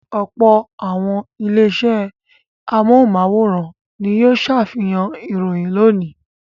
Ọ̀pọ̀ àwọn ilé-iṣẹ́ ẹ̀rọ amóhùmáwòhán ni yóò ṣàfihàn ìròyìn lónìí.